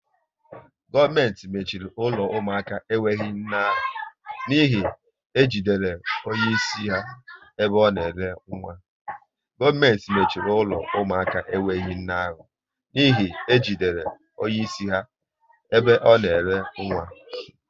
Gọọmenti mechiri ụlọ ụmụaka enwe nne ahụ n'ihi e jidere onye isi ha ebe ọ na ere nwa